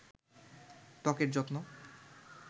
ত্বকের যত্ন